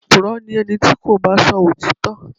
Opùrọ́ ni ẹni tí kò bá sọ òtítọ́.